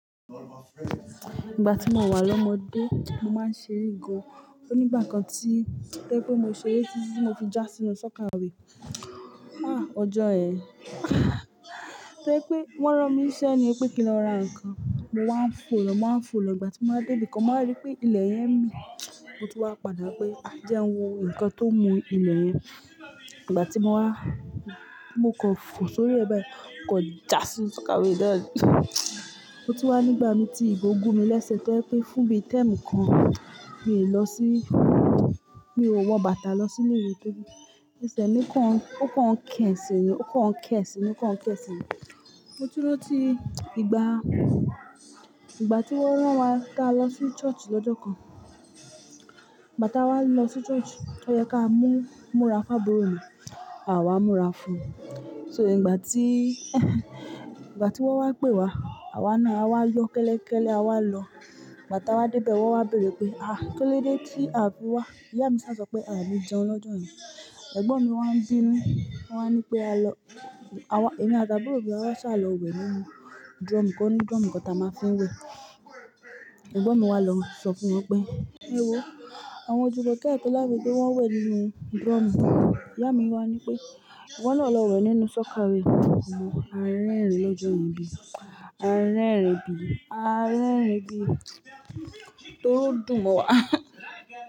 Ìgbà tí mo wà lọ́mọdé, mo máa ń ṣere gan. Ó ní ìgbà kan tí o jẹ́ pé mo ṣe ré tití mo fi jà sínu sọ́kàwé. Ọjọ́ yẹ. Tori pé wọ́n rán mi niṣẹ́ ní pé kí n lọ ra ǹkan, mo wá ń fò lọ, mo wá ń fò lọ. Ìgbà tí mo wa débí kan, mo warí pé ilẹ̀ yẹn mi, mo tu wá padà pé, "A jẹ́ ń wo ǹkan tó ń mu ilẹ̀ yẹn." Ìgbà tí mo wá, mo kọ fò sórí ẹ̀ bayi, mo kọ jà sí inu sọ́kàwé náà. Mo ti wá nígbà mi tí ìgò gún mi lẹ́sẹ̀ to jẹ́ pé fún bí i tẹ́rmu mi kan, mi ò lọ sí-- mi ò wọ bàtà lọ sí ilé ìwé tóbí. Ẹ́sẹ̀ mi kan ó kan ń kẹ̀sìn mi, ó kan ń kẹ̀sìn mi, ó kan ń kẹ̀sìn mi. Mo tun ran tí ìgbà, ìgbà tí wọ́n rán wa ká lọ sí church lọ́jọ́ kan. Ìgbà tá a wá lọ sí church, ó yẹ ká múra fu aburù mí, àwa múra fún. So ìgbà tí, ìgbà tí wọ́n wá pè wá, àwa náà a wá yọ kẹ́lẹ́kẹ́lẹ́ a wá lọ. Ìgbà tá a wá débẹ̀ wọ́n wá béèrè pé, "À, kílódé tí a fi wá?" Ìyá mi sá sọ pé, "Àní jẹun lọ́jọ́ ye." Ẹ̀gbọ́n mi wá ń bínú, wá ń ní pé, "A lọ. Èmi àti àbúrò mi wá sá lọ wẹ̀ nínú drum kan. Nínú drum kan táa máa fi ń wẹ̀." Ẹ̀gbọ́n mi wá lọ sọ fún wọn pé, "Ẹ wo àwọn jumokẹ́ ati olamide wọ́n wẹ̀ nínú drum." Ìyá mi wá ní pé, "Iwọ́ náà lọ wẹ̀ nínú sọ́kàwé." Àárín ẹ̀rin lọ́jọ́ ye bí. Àárín ẹ̀rin bí. Àárín ẹ̀rin bí. Tóri odún mo wà.